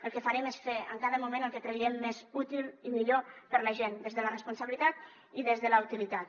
el que farem és fer en cada moment el que creguem més útil i millor per a la gent des de la responsabilitat i des de la utilitat